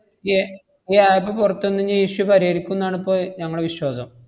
ഏർ ഈ app പൊറത്ത് വന്നുകയിഞ്ഞ ഈ issue പരിഹരിക്കുന്നാണ് ഇപ്പൊ ഞമ്മളെ വിശ്വാസം.